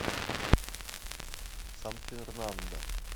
сан фернандо